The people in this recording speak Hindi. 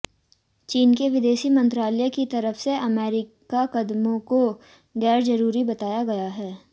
चीन के विदेश मंत्रालय की तरफ से अमेरिकी कदमों को गैरजरूरी बताया गया है